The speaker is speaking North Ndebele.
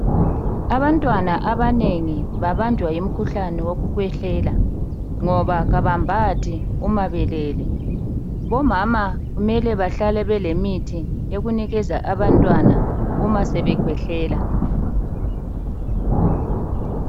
Abantwana abanengi babanjwa ngumkhuhlane wokukhwehlela ngoba kabambathi uma belele .Omama kumele bahlale belemithi yokunikeza abantwana uma sebekhwehlela.